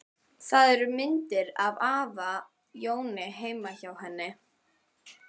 Það eru myndir af afa Jóni heima hjá henni.